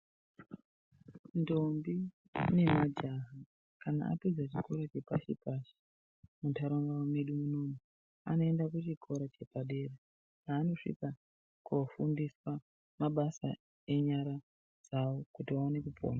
Ndombi nemajaha kana apedza chikora chepashi-pashi muntaraunda medu munomu. Anoenda kuchikora chepadera paanosvika kofundiswa mabasa enyara dzavo kuti vaone kupona.